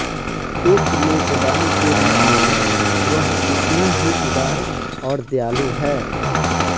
एक मेजबान के रूप में वह उतना ही उदार और दयालु है